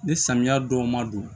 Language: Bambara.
Ni samiya dɔw ma don